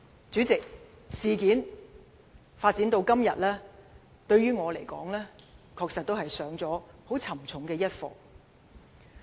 主席，事情發展至今，於我而言，確實是上了沉重的一課。